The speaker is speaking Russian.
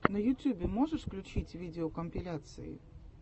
на ютьюбе можешь включить видеокомпиляции